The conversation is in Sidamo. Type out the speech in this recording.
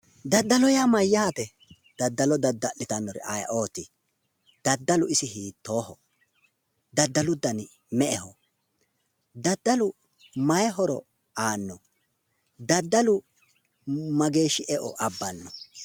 Daddalo yaa mayyaate? daddalo dadda'litannori ayeeooti? daddalu isi hiitooho? daddalu dani me'eho? daddalu mayi horo aanno? daddalu mageeshshi eo abbanno?